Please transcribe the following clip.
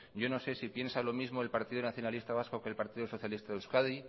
yo no sé si piensa lo mismo el partido nacionalista vasco que el partido socialista de euskadi